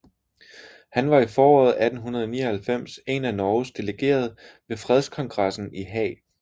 Han var i foråret 1899 en af Norges delegerede ved fredskongressen i Haag